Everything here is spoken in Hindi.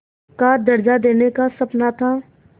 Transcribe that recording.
का दर्ज़ा देने का सपना था